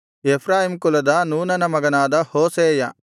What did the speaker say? Ephraim ಕುಲದ ನೂನನ ಮಗನಾದ ಹೋಶೇಯ